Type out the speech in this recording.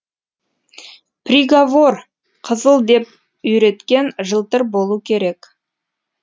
приговор қызыл деп үйреткен жылтыр болу керек